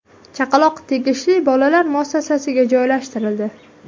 Chaqaloq tegishli bolalar muassasasiga joylashtirildi.